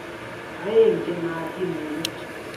Aeng' che naatin missing'.